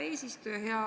Hea eesistuja!